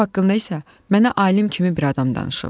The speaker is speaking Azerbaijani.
Top haqqında isə mənə alim kimi bir adam danışıb.